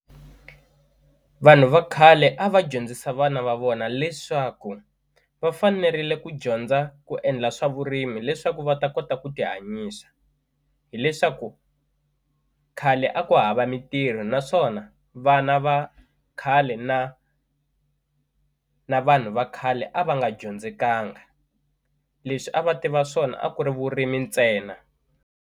Vanhu va khale a va dyondzisa vana va vona leswaku va fanerile ku dyondza ku endla swa vurimi leswaku va ta kota ku ti hanyisa hileswaku khale a ku hava mintirho naswona vana va khale na na vanhu va khale a va nga dyondzekanga leswi a va tiva swona a ku ri vurimi ntsena.